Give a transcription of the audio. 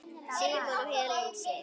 Símon og Helena Sif.